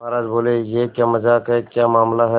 महाराज बोले यह क्या मजाक है क्या मामला है